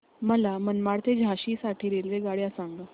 मला मनमाड ते झाशी साठी रेल्वेगाड्या सांगा